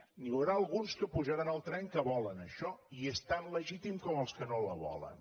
n’hi haurà alguns que pujaran al tren que volen això i és tan legítim com els que no la volen